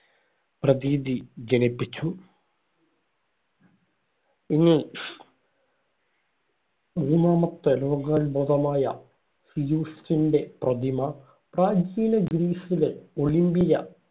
പ്രതീതി ജനിപ്പിച്ചു. ഇനി മുന്നാമത്തെ ലോകാത്ഭുതമായ സിയൂസിന്‍റെ പ്രതിമ പ്രാചീന ഗ്രീസിലെ ഒളിമ്പിയ